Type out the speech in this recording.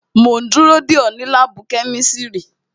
Mo ń dúró dè ọ́ ní láàbù kẹ́mísírì